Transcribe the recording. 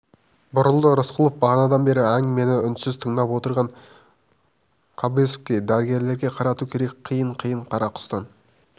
бұрылды рысқұлов бағанадан бері әңгімені үнсіз тыңдап отырған кобозевке дәрігерлерге қарату керек қиыны қиын қарақұстан